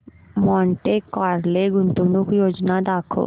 Monte Carlo गुंतवणूक योजना दाखव